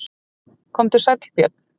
Komdu sæll Björn.